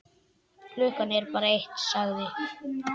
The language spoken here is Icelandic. Klukkan er bara eitt, sagði